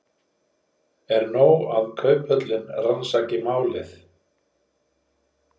En er nóg að Kauphöllin rannsaki málið?